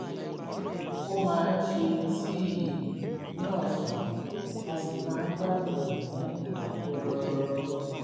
ó máa ń se tíì ní ọ̀sán á sì máa ń gbádùn rẹ̀ ní ìdákẹ́rọ́rọ́